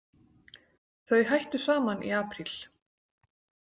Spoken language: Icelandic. Þau hættu saman í apríl.